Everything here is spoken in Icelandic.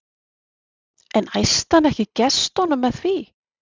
En æsti hann ekki í gestunum með því?